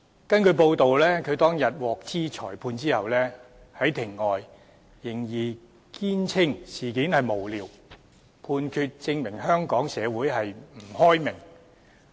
根據報道，他當天獲悉裁決後，在庭外仍堅稱事件無聊，判決證明香港社會不開明。